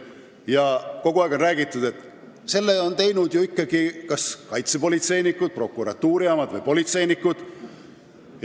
Ja kogu aeg on räägitud, et seda on ikkagi teinud kaitsepolitseinikud, prokuratuuri omad või politseinikud.